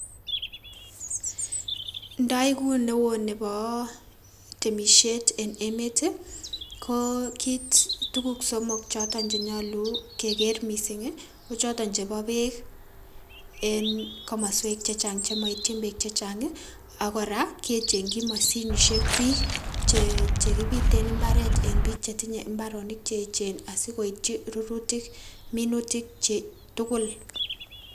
Ndoikuu newon neboo temisiet en emeet ii, kokiit tukuk somok chenyolu kekeer mising ii, kochoton cheboo beek en komoswek chechang chemoityin biik chechang ii, akoraa kechengyii mashinishek biik chekibiten mbaret en biik chetinye mbaronik cheechen asikoityi rurutik minutikyik tukul.